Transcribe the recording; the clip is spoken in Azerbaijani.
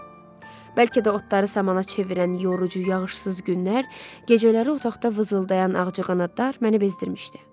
Bəlkə də otları samana çevirən yorucu yağışsız günlər, gecələri otaqda vızıldayan ağcaqanadlar məni bezdirmişdi.